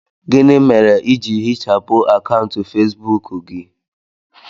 Gịnị mere i ji hichapụ akaụntụ Facebook gị